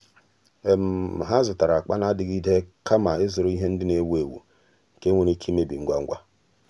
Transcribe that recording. há zụ́tárà ákpá nà-adị́gídè kama ị́zụ́rụ ìhè ndị nà-èwú éwú nke nwere ike ị́mébí ngwa ngwa.